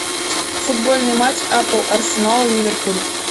футбольный матч апл арсенал ливерпуль